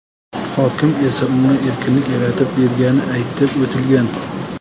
Hokim esa unga erkinlik yaratib bergani aytib o‘tilgan.